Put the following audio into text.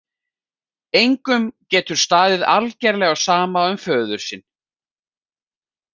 Engum getur staðið algerlega á sama um föður sinn?